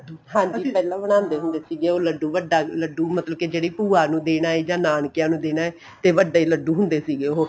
ਹਾਂਜੀ ਅਸੀਂ ਪਹਿਲੇ ਬਣਾਦੇ ਹੁੰਦੇ ਸੀ ਉਹ ਲੱਡੂ ਵੱਡਾ ਲੱਡੂ ਮਤਲਬ ਕੇ ਜਿਹੜੀ ਭੂਆਂ ਨੂੰ ਦੇਣਾ ਏ ਜਾਂ ਨਾਨਕੇ ਨੂੰ ਦੇਣਾ ਏ ਤੇ ਵੱਡੇ ਲੱਡੂ ਹੁੰਦੇ ਸੀਗੇ ਉਹ